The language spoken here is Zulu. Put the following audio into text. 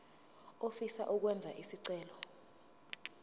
ofisa ukwenza isicelo